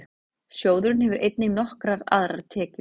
Sjóðurinn hefur einnig nokkrar aðrar tekjur.